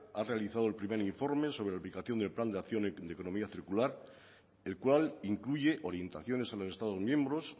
ha realizado el primer informe sobre la aplicación del plan de acción y de economía circular el cual incluye orientaciones a los estados miembros